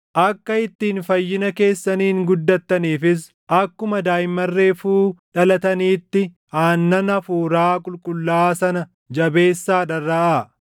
Akka ittiin fayyina keessaniin guddattaniifis akkuma daaʼimman reefuu dhalataniitti aannan hafuuraa qulqullaaʼaa sana jabeessaa dharraʼaa;